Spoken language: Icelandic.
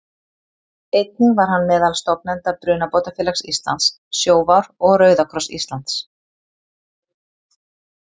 Einnig var hann meðal stofnenda Brunabótafélags Íslands, Sjóvár og Rauða kross Íslands.